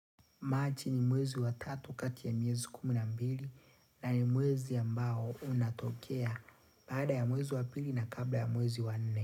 Machi ni mwezi wa tatu kati ya miezi kumi nambili na ni mwezi ambao unatokea baada ya mwezi wa pili na kabla ya mwezi wa nne.